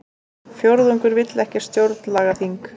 Fjórðungur vill ekki stjórnlagaþing